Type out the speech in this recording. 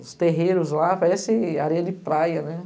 Os terreiros lá parecem areia de praia, né?